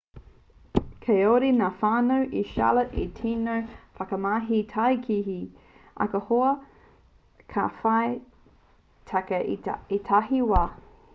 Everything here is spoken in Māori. kāore ngā whānau i charlotte i te tino whakamahi tākihi ahakoa ka whai take i ētahi wā